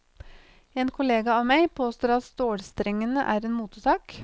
En kollega av meg påstår at stålstrengene er en motesak.